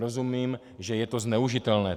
Rozumím, že je to zneužitelné.